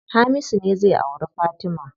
Hamisu ne zai auri Fatima.